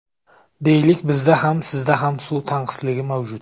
Deylik, bizda ham, sizda ham suv tanqisligi mavjud.